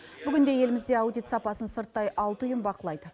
бүгінде елімізде аудит сапасын сырттай алты ұйым бақылайды